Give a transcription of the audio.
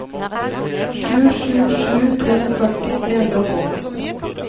sju sju sju to førti tre hundre og tolv